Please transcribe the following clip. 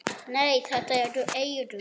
Nei, þetta eru eyrun.